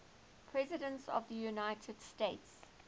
presidents of the united states